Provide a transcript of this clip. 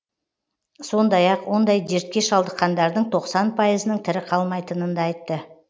сондай ақ ондай дертке шалдыққандардың тоқсан пайызының тірі қалмайтынын да айтты